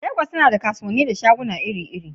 Legas tana da kasuwanni da shaguna iri-iri.